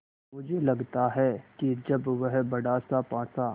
मुझे लगता है कि जब वह बड़ासा पासा